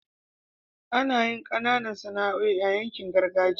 anayin Kananan Sana'oi a yankin gargajiya